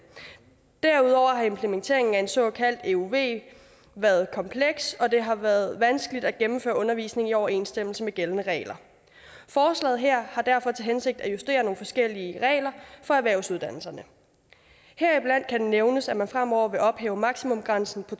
derudover har implementeringen af en såkaldt euv været kompleks og det har været vanskeligt at gennemføre undervisningen i overensstemmelse med gældende regler forslaget her har derfor til hensigt at justere nogle forskellige regler for erhvervsuddannelserne heriblandt kan nævnes at man fremover vil ophæve maksimumgrænsen på